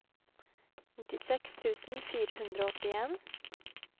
nittiseks tusen fire hundre og åttien